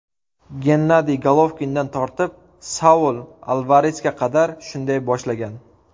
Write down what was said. Gennadiy Golovkindan tortib, Saul Alvaresga qadar shunday boshlagan.